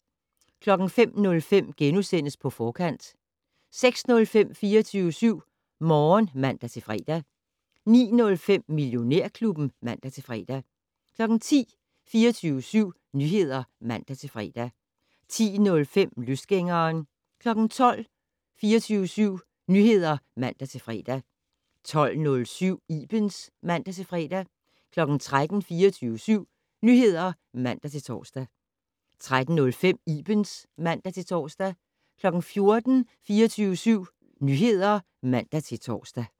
05:05: På Forkant * 06:05: 24syv Morgen (man-fre) 09:05: Millionærklubben (man-fre) 10:00: 24syv Nyheder (man-fre) 10:05: Løsgængeren 12:00: 24syv Nyheder (man-fre) 12:07: Ibens (man-fre) 13:00: 24syv Nyheder (man-tor) 13:05: Ibens (man-tor) 14:00: 24syv Nyheder (man-tor)